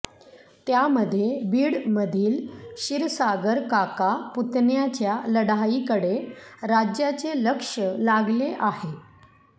त्यामध्ये बीड मधील क्षीरसागर काका पुतण्याच्या लढाईकडे राज्याचे लक्ष लागले आहे